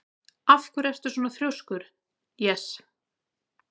Af hverju ertu svona þrjóskur, Jes?